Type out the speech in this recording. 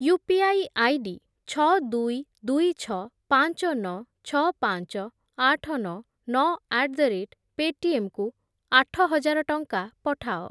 UPI ID ଛଅ, ଦୁଇ, ଦୁଇ, ଛଅ, ପାଞ୍ଚ, ନଅ, ଛଅ, ପାଞ୍ଚ, ଆଠ, ନଅ, ନଅ ଆଟ୍ ଦ ରେଟ୍ ପେଟିଏମ୍ କୁ ଆଠହଜାର ଟଙ୍କା ପଠାଅ।